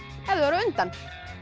ef þau eru á undan